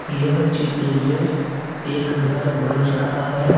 यह चित्र मे एक घर बन रहा है।